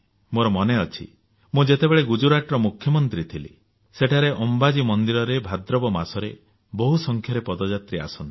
ମୋର ମନେ ଅଛି ମୁଁ ଯେତେବେଳେ ଗୁଜରାଟର ମୁଖ୍ୟମନ୍ତ୍ରୀ ଥିଲି ସେଠାରେ ଅମ୍ବାଜୀ ମନ୍ଦିରରେ ଭାଦ୍ରବ ମାସରେ ବହୁ ସଂଖ୍ୟାରେ ପଦଯାତ୍ରୀ ଆସନ୍ତି